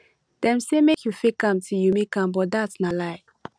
dem say make you fake am till you make am but dat na lie